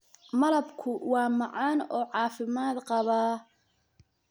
Malabku waa macaan oo caafimaad qabaa.